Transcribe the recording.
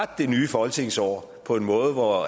det nye folketingsår på en måde hvor